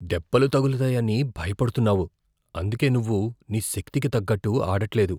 దెబ్బలు తగులుతాయని భయపడుతున్నావు, అందుకే నువ్వు నీ శక్తికి తగ్గట్టు ఆడట్లేదు.